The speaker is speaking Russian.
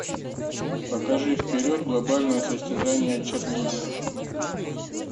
покажи вперед глобальное состязание чирлидеров